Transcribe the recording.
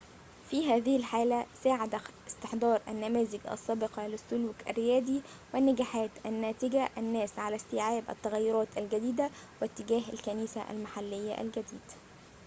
في هذه الحالة ساعد استحضار النماذج السابقة للسلوك الريادي والنجاحات الناتجة الناس على استيعاب التغيّرات الجديدة واتجاه الكنيسة المحليّة الجديد